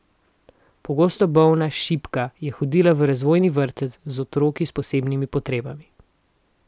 Pogosto bolna, šibka, je hodila v razvojni vrtec, z otroki s posebnimi potrebami.